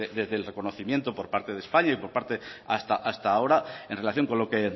desde el reconocimiento por parte de españa hasta ahora en relación con lo que